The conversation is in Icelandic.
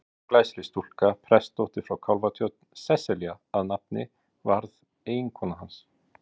Ung og glæsileg stúlka, prestsdóttir frá Kálfatjörn, Sesselja að nafni, varð eiginkona hans.